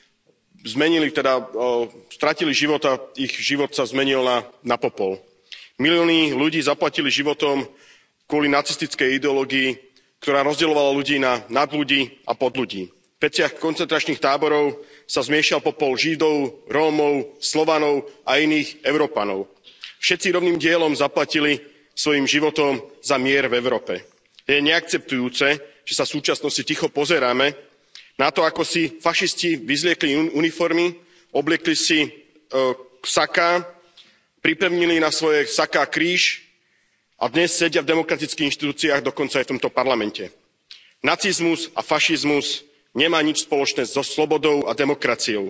Vážená pani predsedajúca, v týchto dňoch si pripomíname obete, ktoré počas druhej svetovej vojny stratili život a ich život sa zmenil na popol. Milióny ľudí zaplatili životom kvôli nacistickej ideológii, ktorá rozdeľovala ľudí na nadľudí a podľudí. V peciach koncentračných táborov sa zmiešal popol Židov, Rómov, Slovanov a iných Európanov. Všetci rovným dielom zaplatili svojím životom za mier v Európe. Je neakceptujúce, že sa v súčasnosti ticho pozeráme na to ako si fašisti vyzliekli uniformy, obliekli saká, pripevnili na svoje saká kríž a dnes sedia v demokratických inštitúciách, dokonca aj v tomto Parlamente. Nacizmus a fašizmus nemá nič spoločné so slobodou a demokraciou.